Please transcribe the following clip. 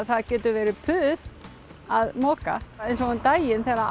það getur verið puð að moka eins og um daginn þegar það